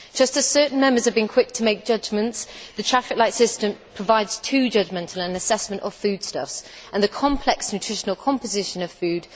Just as certain Members have been quick to make judgments, the traffic light system provides too judgmental an assessment of foodstuffs and the complex nutritional composition of food